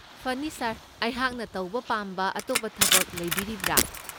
ꯐꯅꯤ ꯁꯥꯔ, ꯑꯩꯍꯥꯛꯅ ꯇꯧꯕ ꯄꯥꯝꯕ ꯑꯇꯣꯞꯄ ꯊꯕꯛ ꯂꯩꯕꯤꯔꯤꯕ꯭ꯔꯥ?